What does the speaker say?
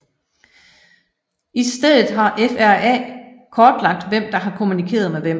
I stedet har FRA kortlagt hvem der har kommunikeret med hvem